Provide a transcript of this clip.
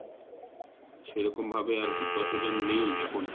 সেরকম ভাবে আরকি প্রচলন নেই এখন